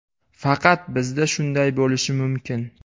Faqat bizda shunday bo‘lishi mumkin.